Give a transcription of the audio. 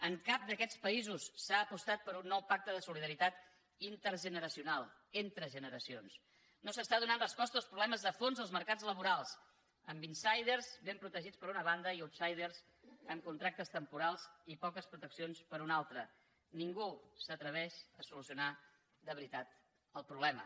en cap d’aquests països s’ha apostat per un nou pacte de solidaritat intergeneracional entre genera cions no es donen respostes als problemes de fons dels mercats laborals amb insidersuna banda i outsidersques proteccions per una altra ningú s’atreveix a solucionar de veritat el problema